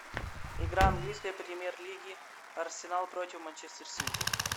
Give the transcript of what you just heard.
игра английской премьер лиги арсенал против манчестер сити